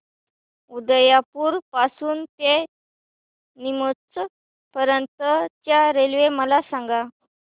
उदयपुर पासून ते नीमच पर्यंत च्या रेल्वे मला सांगा